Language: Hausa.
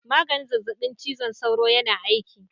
Maganin zazzabin cizon sauron yana aiki.